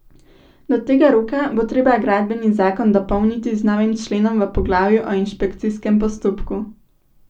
Do tega roka bo treba gradbeni zakon dopolniti z novim členom v poglavju o inšpekcijskem postopku.